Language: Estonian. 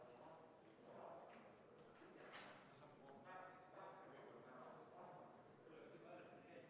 Vahepeal, kui kaste tuuakse, küsin, kas Riigikogu liikmetel on hääletamise korraldamise kohta proteste.